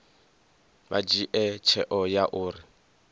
vha dzhie tsheo ya uri